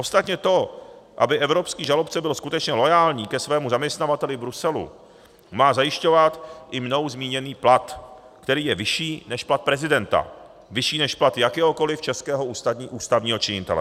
Ostatně to, aby evropský žalobce byl skutečně loajální ke svému zaměstnavateli v Bruselu, má zajišťovat i mnou zmíněný plat, který je vyšší než plat prezidenta, vyšší než plat jakéhokoliv českého ústavního činitele.